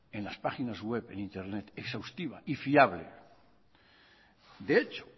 en las páginas web en internet exhaustiva y fiable de hecho